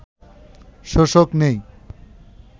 শোষক নেই